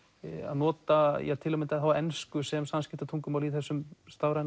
nota til að mynda ensku sem samskipta tungumál í þessum stafræna